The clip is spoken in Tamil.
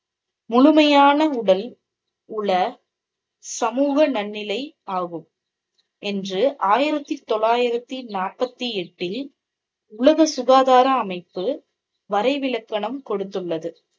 முழுமையான உடல், உள, சமூக நன்னிலை ஆகும் என்று ஆயிரத்து தொள்ளாயிரத்து நாற்பத்தி எட்டில் உலக சுகாதார அமைப்பு வரைவிலக்கணம் கொடுத்துள்ளது.